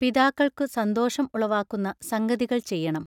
പിതാക്കൾക്കു സന്തോഷം ഉളവാക്കുന്ന സംഗതികൾ ചെയ്യണം.